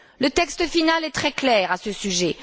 Le texte final est très clair à ce sujet.